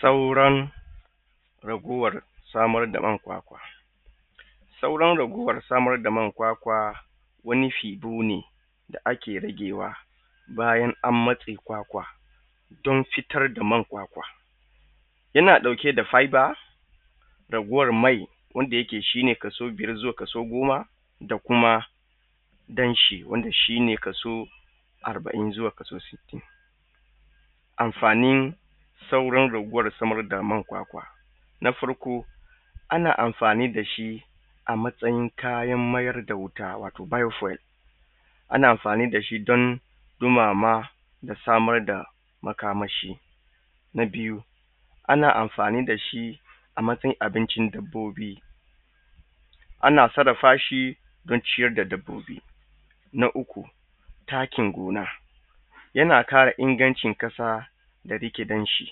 Sauran raguwar samar da man kwakwa sauran raguwar samar da man kwakwa wani fiddu ne da ake ragewa bayna an matse kwakwa don fita da man kwakwa. Yana dauke da fiver raguwar mai wanda yake shi ne kaso goma da kuma dan shi wanda shi ne kaso arba'in zuwa kaso sittin. Amfani sauran raguwar man kwakwa na farko ana amfani da shi a matsayi kayan mayar da wuta wato fuel. Ana amfani da shi don ɗumama da samar da makamashi. Na biyu ana amfani da shi a matsayin abincin dabbobi, ana sarrafa shi don ciyar da dabbobi. Na uku takin gona yana ƙara ingancin ƙasa da riƙe danshi.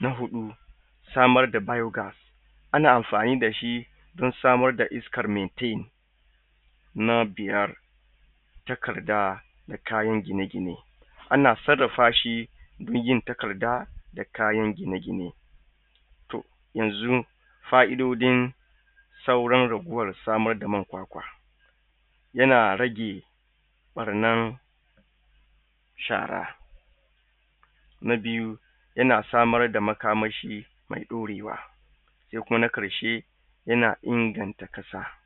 Na huɗu samar da mayuka, ana amfani da shi don samar da iska metin. Na biyar takarda da kayan gine-gine. Ana sarrafa shi zuwa takarda da kayan gine-gine. Yanzu saraun fa'idojin sauran raguwar samar da man kwakwa yana rage ɓarnar shara. Na biyu yana samar da makamashi mai ɗaurewa. Na karshe yana inganta ƙasa.